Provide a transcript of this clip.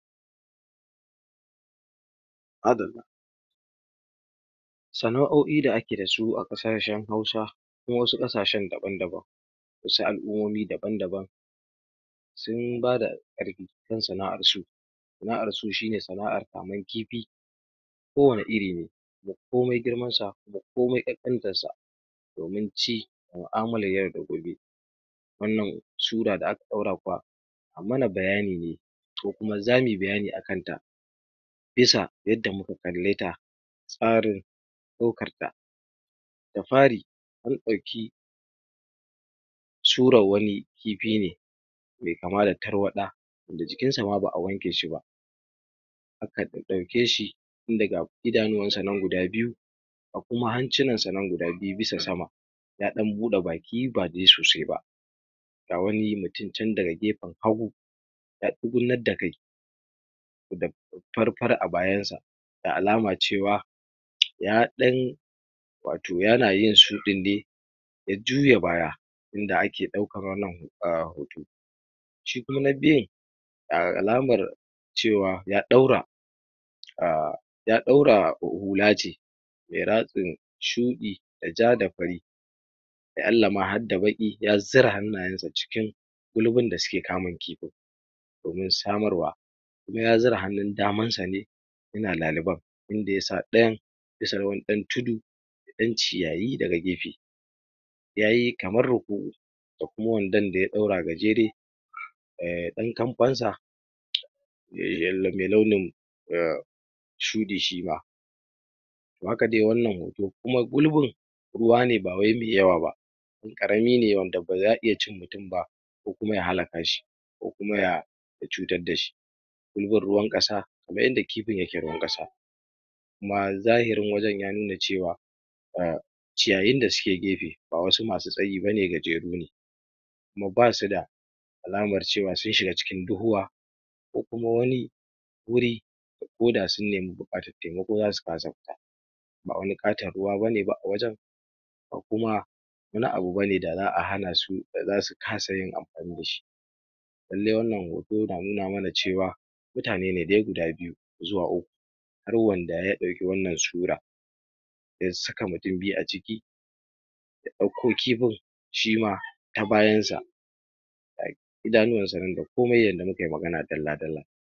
madallah sana'oi da ake dasu a ƙasashan hausa ko wasu ƙasashan daban daban asu al'umomi daban daban sun bada ƙarfi kan sana'ar su sana'arsu shine sana'ar kaman kifi ko wanne iri ne kuma komai girmansa komai ƙanƙantarsa domin ci mu'amalar yau da gobe wannan sura da aka daura kuwa anmana bayani ne ko kuma zamuyi bayani a kanta bisa yanda muka kalleta tsarin ɗaukarta da fari anɗauki surar wani kifi ne me kama da tarwaɗa wanda jikinsa ma ba a wanke shi ba aka ɗaɗɗauke shi tunda ga idanu wanshi nan guda biyu ku hancinan shinan guda biyu bisa sama ya dan bude baki badai sosai ba ga wani mutum can daga gefen hagu ya tsugunnan da kai da fari fari a bayansa da alama cewa ya ɗan wato yana yin shuɗin ne ya juya baya inda ake ɗaukar wannan hoto shi kuma na biyu alamar cewa ya ɗaura a ya ɗaura hula ce me ratsin shuɗi da ja da fari la'allama har da baƙi ya zura hannayansa cikin bulbun da suke kamin kifin domin samarwa kuma ya zira hannun damansa ne yana laliban inda yasa ɗayan bisa na wani ɗan tudu ɗan ciyayi daga gefe yayi kamar ruku'u da kuma wandan daya ɗaura gajeri dan kamfansa me launin shuɗi shima haka dai wannan hoto kuma gulbin ruwa ne bawai me yawa ba ɗan ƙaramine wanda baza a iya cin mutum ba ko kuma ya halakashii ko kuma ya cutar dashi gulbin ruwan ƙasa kamar yada kifin yake ruwan ƙasa kuma zahirin wajan ya nuna cewa ciyayin da suke gefe ba wasu masu tsayi bane gajeru ne kuma basu da alamar cewa sun shiga cikin duhuwa ko kuma wani wuri ko da sun neme buƙatar taimako zasu kasa fita ba wani ƙatan ruwa bane ba a wajan ba kuma wani abu bane da za a hanasu da zasu kasa yin amfani dashi lallai wannan hoto na nuna mana cewa mutane dai guda biyu zuwa uku har wanda ya dauke wannan sura ya saka mutum biyu a ciki ya ɗauko kifi shima ta bayansa ga idanuwansa nan da komai yanda mukayi magana dalla dalla